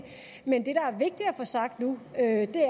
få sagt nu er at det